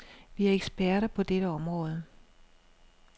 Vi er eksperter på dette område.